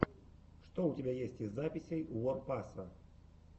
что у тебя есть из записей уор паса